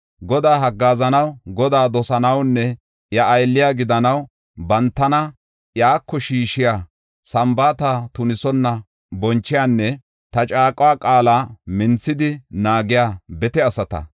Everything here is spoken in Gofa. Godaa haggaazanaw, Godaa dosanawunne iya aylle gidanaw bantana iyako shiishiya, sambaata tunisonna bonchiyanne ta caaqo qaala minthidi naagiya bete asata,